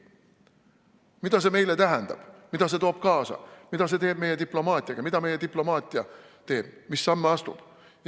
Mida see meile tähendab, mida see kaasa toob, mida see teeb meie diplomaatiaga, mida meie diplomaatia teeb, mis samme astub?